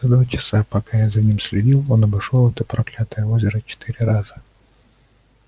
за два часа пока я за ним следил он обошёл это проклятое озеро четыре раза